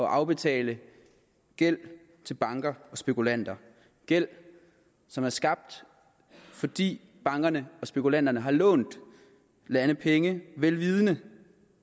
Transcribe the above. at afbetale gæld til banker og spekulanter gæld som er skabt fordi bankerne og spekulanterne har lånt lande penge vel vidende